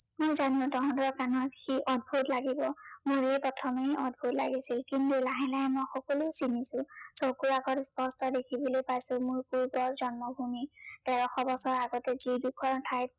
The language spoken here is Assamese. জানো তহঁতৰ কাণত সি অদ্ভূত লাগিব। মোৰেই প্ৰথমে অদ্ভূত লাগিছিল। কিন্তু লাহে লাহে মই সকলো চিনিছো। চকুৰ আগত স্পষ্ট দিখিব পাইছো, মোৰ পূৰ্বৰ জন্মভূমি। তেৰশ বছৰৰ আগতে যি ডোখৰ ঠাইত